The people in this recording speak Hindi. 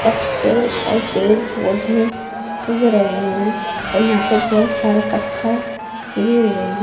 पत्ते और पेड़ पौधे उग रहे हैं और यहां पर बहोत सारे पत्थर गिरे हुए हैं।